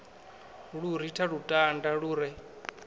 lu ritha lutanda lu re